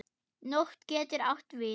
Nótt getur átt við